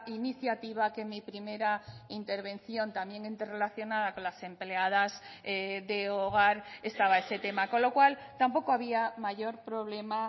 iniciativa que en mi primera intervención también interrelacionada con las empleadas de hogar estaba ese tema con lo cual tampoco había mayor problema